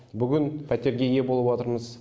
бүгін пәтерге ие болып жатырмыз